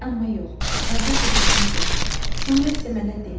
Amma yox, əvvəlcə güzgünü gətir, sonra isə mənə de.